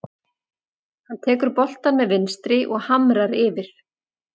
Hann tekur boltann með vinstri og hamrar yfir.